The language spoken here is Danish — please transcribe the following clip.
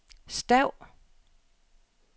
stav